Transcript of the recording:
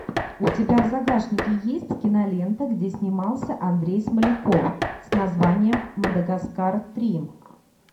у тебя в загашнике есть кинолента где снимался андрей смоляков с названием мадагаскар три